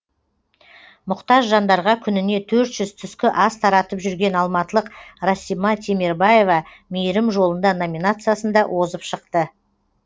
мұқтаж жандарға күніне төрт жүз түскі ас таратып жүрген алматылық расима темербаева мейірім жолында номинациясында озып шықты